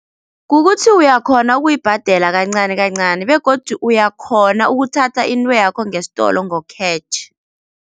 Kukuthi uyakhona ukuyibhadela kancani kancani begodu uyakhona ukuthatha intweyakho ngesitolo ngo-cash.